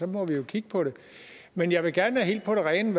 må vi jo kigge på det men jeg vil gerne være helt på det rene